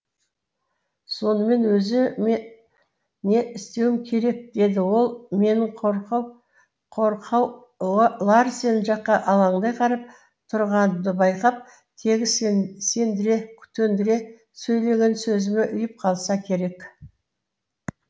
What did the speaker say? сонымен өзі ме не істеуім керек деді ол менің қорқау қорқау ларсен жаққа алаңдай қарап тұрғанымды байқап тегі сен сендіре төндіре сөйлеген сөзіме ұйып қалса керек